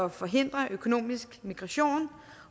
at forhindre økonomisk migration